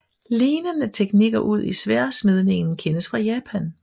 Lignende teknikker udi sværdsmedningen kendes fra Japan